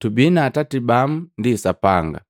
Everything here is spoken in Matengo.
Tubii na atati bamu ndi Sapanga.”